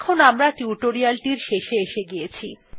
এখন আমরা টিউটোরিয়ালটির শেষে এসে গিয়েছি